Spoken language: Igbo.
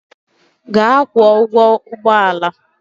Gaa kwụọ ụgwọ ụgbọ ala!